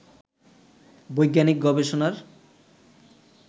বৈজ্ঞানিক গবেষণার